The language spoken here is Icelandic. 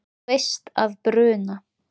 Þú veist að bruna